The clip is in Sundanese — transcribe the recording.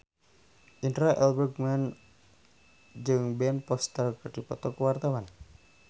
Indra L. Bruggman jeung Ben Foster keur dipoto ku wartawan